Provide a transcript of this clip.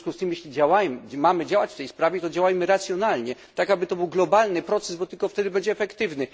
W związku z tym, jeśli mamy działać w tej sprawie, to działajmy racjonalnie, tak aby był to globalny proces, bo tylko wtedy będzie efektywny.